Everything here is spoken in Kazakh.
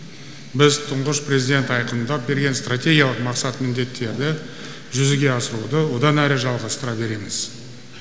біз тұңғыш президент айқындап берген стратегиялық мақсат міндеттерді жүзеге асыруды одан әрі жалғастыра береміз